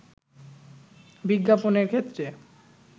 বিজ্ঞাপনের ক্ষেত্রে